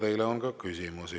Teile on ka küsimusi.